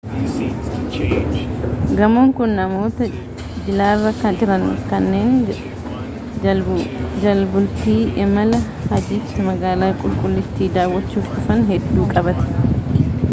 gamoon kun namoota jilarra jiran kanneen jalbultii imala hajjiitti magaalaa qulqullittii daawachuuf dhufan hedduu qabate